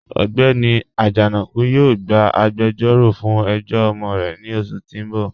Ọgbẹ́ni Ajanaku yóò gbà àgbèjọ̀ró fún ẹ̀jọ̀ ọmọ rẹ̀ ní oṣù tí n bọ̀.